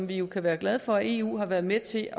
vi jo kan være glade for at eu har været med til